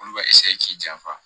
Olu bɛ k'i janfa